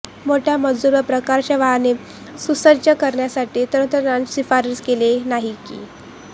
मोठ्या मजुर या प्रकारच्या वाहने सुसज्ज करण्यासाठी तंत्रज्ञान शिफारस केलेली नाही की